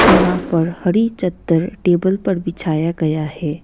यहां पर हरी चद्दर टेबल पर बिछाया गया है।